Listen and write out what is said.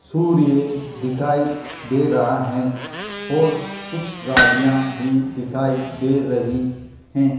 सूर्य दिखाई दे रहा हैं और कुछ गाड़ियां भी दिखाई दे रही हैं।